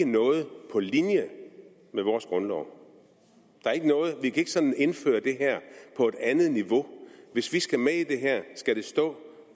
noget på linje med vores grundlov at vi ikke sådan kan indføre det her på et andet niveau hvis vi skal med i det her skal det stå